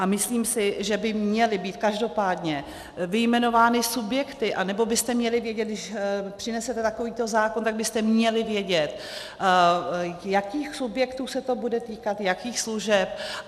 A myslím si, že by měly být každopádně vyjmenovány subjekty, anebo byste měli vědět, když přinesete takovýto zákon, tak byste měli vědět, jakých subjektů se to bude týkat, jakých služeb.